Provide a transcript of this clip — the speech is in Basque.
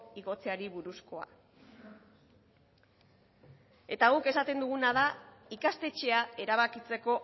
igotzeari buruzkoa eta guk esaten duguna da ikastetxea erabakitzeko